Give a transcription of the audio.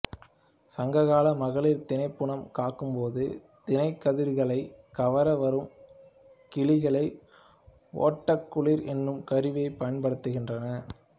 சங்க கால மகளிர் தினைப்புனம் காக்கும்போது தினைக்கதிர்களைக் கவர வரும் கிளிகளை ஓட்டக் குளிர் என்னும் கருவியைப் பயன்படுத்தினர்